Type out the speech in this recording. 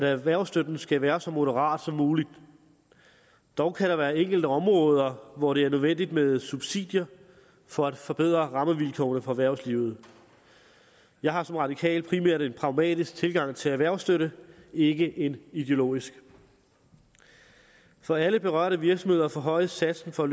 erhvervsstøtten skal være så moderat som muligt dog kan der være enkelte områder hvor det er nødvendigt med subsidier for at forbedre rammevilkårene for erhvervslivet jeg har som radikal primært en pragmatisk tilgang til erhvervsstøtte ikke en ideologisk for alle berørte virksomheder forhøjes satsen for